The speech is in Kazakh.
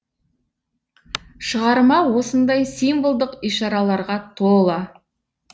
шығарма осындай символдық ишараларға тола